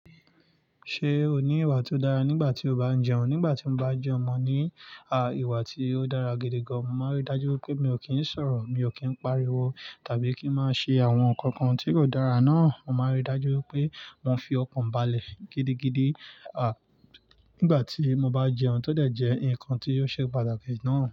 Ṣé o ní ìwà tó dára nígbà tí o bá ń jẹun? Nígbà tí mo bá jẹun mo ní, ìwà tí ó dára gidi gan. Mo máa n rí dájú wipé mi ò kí ń sọ̀rọ̀, mi ò kí ń pariwo tàbí kí ń má ṣe àwọn ǹnkan kan tí kò dára náà. Mo máa n rí dájú wipé mo fi ọkàn balẹ̀ gidigidi, nígbà tí mo bá jẹun tọ́ dẹ̀ jẹ́ nǹkan tí yóò ṣe pàtàkì náà.